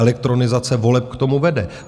Elektronizace voleb k tomu vede.